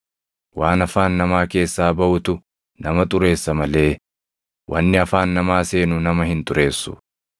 Waan afaan namaa keessaa baʼutu nama xureessa malee wanni afaan namaa seenu nama hin xureessu.”